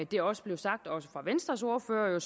det også blev sagt af venstres ordfører